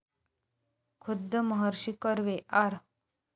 खुद्द महर्षी कर्वे, आर.